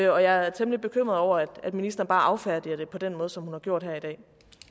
og jeg er temmelig bekymret over at ministeren bare affærdiger det på den måde som hun har gjort her i dag